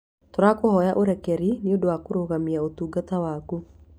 Tũrahoya ũrekeri nĩ ũndũ wa kũrũgamia ũtungata waku.